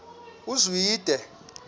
uzwide